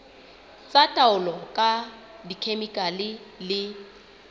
tsa taolo ka dikhemikhale le